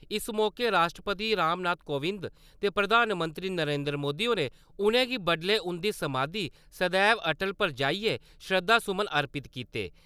इस मौके राश्ट्रपति रामनाथ कोबिंद ते प्रधानमंत्री नरेन्द्र मोदी होरें उ`नेंगी बडलै उन्दी समाधी 'सदेव अटल' पर जाइयै श्रद्धा सुमन अर्पित कीते।